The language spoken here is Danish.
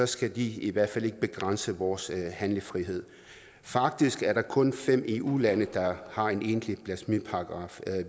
skal de i hvert fald ikke begrænse vores handlefrihed faktisk er der kun fem eu lande der har en egentlig blasfemiparagraf